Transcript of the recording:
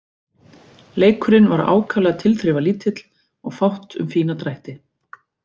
Leikurinn var ákaflega tilþrifalítill og fátt um fína drætti.